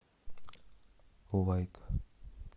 лайк